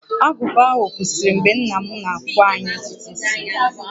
Agụba ahụ kwụsịrị mgbe nna m na-akpụ anyị ntutu isi